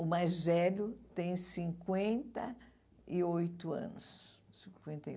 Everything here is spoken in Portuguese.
O mais velho tem cinquenta e oito anos. Cinquenta e